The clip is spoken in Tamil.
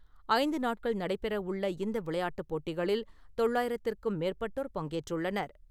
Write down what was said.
ஐந்து நாட்கள் நடைபெறவுள்ள இந்த விளையாட்டுப் போட்டிகளில் தொள்ளயிரத்திற்கும் மேற்பட்டோர் பங்கேற்றுள்ளனர்.